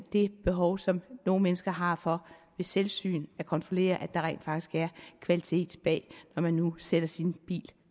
det behov som nogle mennesker har for ved selvsyn at kontrollere at der rent faktisk er kvalitet bag når man nu sender sin bil